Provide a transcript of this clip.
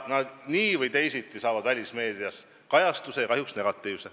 Nii või teisiti saavad need välismeedias kajastuse ja kahjuks negatiivse.